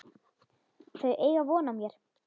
Þau eiga von á mér.